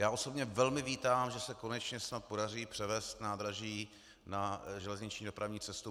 Já osobně velmi vítám, že se konečně snad podaří převést nádraží na železniční dopravní cestu.